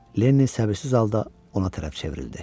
Lenni səbirsiz halda ona tərəf çevrildi.